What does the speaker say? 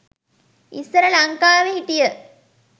ඉස්සර ලංකාවෙ හිටිය